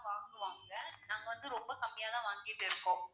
வாங்குவாங்க நாங்க வந்து ரொம்ப கம்மியா தான் வாங்கிட்டு இருக்கோம்.